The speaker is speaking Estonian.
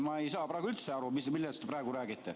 Ma ei saa üldse aru, millest te praegu räägite.